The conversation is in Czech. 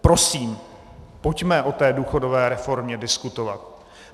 Prosím, pojďme o té důchodové reformě diskutovat.